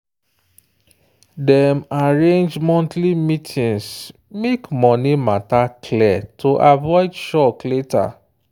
dem arrange monthly meetings make money matter clear to avoid shock later.